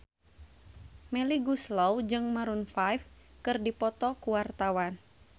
Melly Goeslaw jeung Maroon 5 keur dipoto ku wartawan